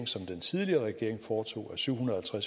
som den tidligere regering foretog af syv hundrede og